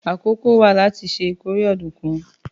Àkókò wà láti ṣe ìkórè ọ̀dùnkún